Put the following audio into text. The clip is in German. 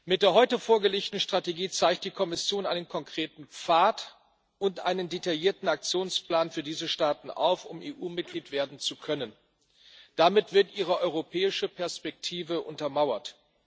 Mit der heute vorgelegten Strategie zeigt die Kommission einen konkreten Pfad und einen detaillierten Aktionsplan für diese Staaten auf, um EU Mitglied werden zu können. Damit wird ihre europäische Perspektive untermauert.